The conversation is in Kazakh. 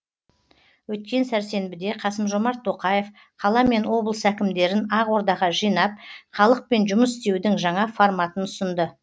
өткен сәрсенбіде қасым жомарт тоқаев қала мен облыс әкімдерін ақордаға жинап халықпен жұмыс істеудің жаңа форматын ұсынды